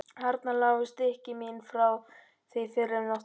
Þarna lágu stykki mín frá því fyrr um nóttina.